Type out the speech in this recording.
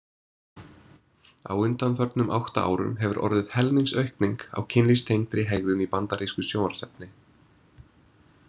Á undanförnum átta árum hefur orðið helmingsaukning á kynlífstengdri hegðun í bandarísku sjónvarpsefni.